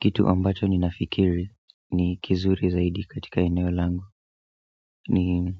Kitu ambacho ninafikiri ni kizuri zaidi katika eneo langu ni